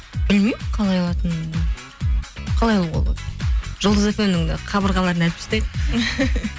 білмеймін қалай алатынын қалай алуға болады жұлдыз фм нің қабырғаларына іліп тастайық